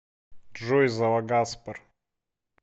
джой залагаспер